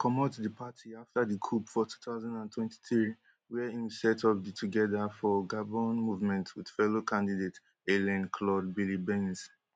comot di party afta di coup for two thousand and twenty-three wia im set up di together for gabon movement wit fellow candidate alain claude biliebynze